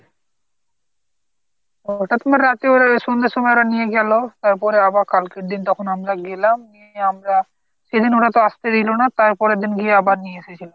ওটা তোমার রাতে সন্ধ্যার সময় ওরা নিয়ে গেল। তারপরে আবার কালকের দিন তখন আমরা গেলাম গিয়ে আমরা সেদিন ওরা তো আস্তে দিল না। তারপরের দিন আবার গিয়ে নিয়ে এসেছিলাম।